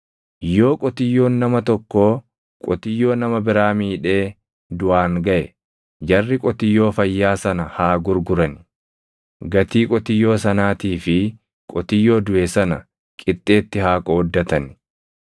“Yoo qotiyyoon nama tokkoo qotiyyoo nama biraa miidhee duʼaan gaʼe jarri qotiyyoo fayyaa sana haa gurgurani; gatii qotiyyoo sanaatii fi qotiyyoo duʼe sana qixxeetti haa qooddatani.